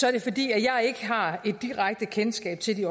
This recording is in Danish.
er det fordi jeg ikke har et direkte kendskab til de